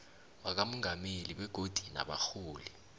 wakamongameli begodu nabarholi